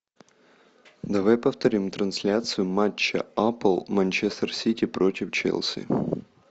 давай повторим трансляцию матча апл манчестер сити против челси